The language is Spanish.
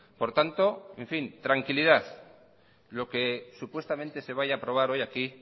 por tanto tranquilidad lo que supuestamente se vaya aprobar hoy aquí